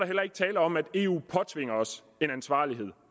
heller ikke tale om at eu påtvinger os en ansvarlighed